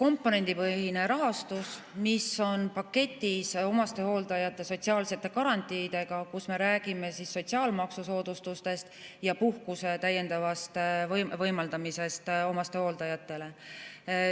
komponendipõhine rahastus, mis on paketis omastehooldajate sotsiaalsete garantiidega, kus me räägime sotsiaalmaksusoodustustest ja täiendava puhkuse võimaldamisest omastehooldajatele.